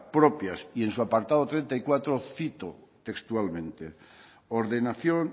propias y en su apartado treinta y cuatro cito textualmente ordenación